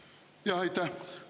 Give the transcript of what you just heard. Jaa, aitäh!